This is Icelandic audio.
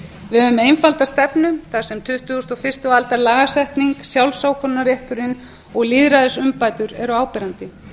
höfum einfalda stefnu þar sem tuttugustu og fyrstu aldar lagasetning sjálfsákvörðunarrétturinn og lýðræðisumbætur eru áberandi